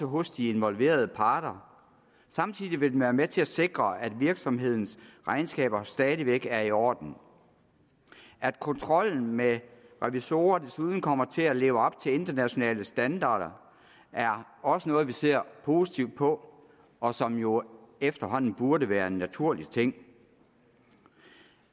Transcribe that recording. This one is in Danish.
hos de involverede parter samtidig vil den være med til at sikre at virksomhedens regnskaber stadig væk er i orden at kontrollen med revisorer desuden kommer til at leve op til internationale standarder er også noget vi ser positivt på og som jo efterhånden burde være en naturlig ting